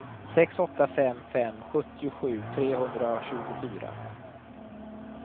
sex åtta fem fem sjuttiosju trehundratjugofyra